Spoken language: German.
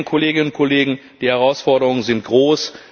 Sie sehen, Kolleginnen und Kollegen, die Herausforderungen sind groß.